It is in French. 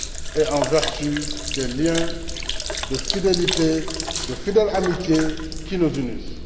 et en vertu des liens de fidélité, de fidèle amitié, qui nous unissent.